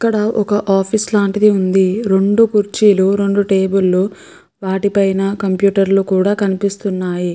ఇక్కడ ఒక ఆఫీసు లాంటిది ఉంది. రెండు కుర్చీలు రెండు టేబుళ్లు వాటి పైన కంప్యూటర్లు కూడా కనిపిస్తున్నాయి.